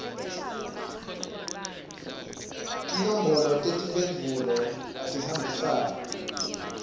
tinombolo tetimphendvulo atihambisane